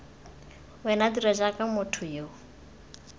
wena dira jaaka motho yo